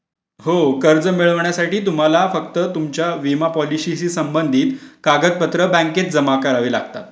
हो कर्ज मिळवण्यासाठी तुम्हाला फक्त तुमच्या विमा पॉलिसी संबंधित कागदपत्र बँकेत जमा करावी लागतात.